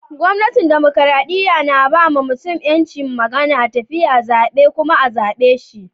Gwamnatin dimokuradiyya na ba ma mutum yancin magana, tafiya, zabe kuma a'zabe shi.